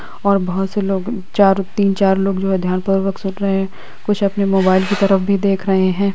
और बहोत से लोग चार तीन चार लोग जो है ध्यानपूर्वक सुन रहे हैं कुछ अपनी मोबाइल की तरफ भी देख रहे हैं।